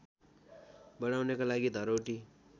बढाउनको लागि धरौटी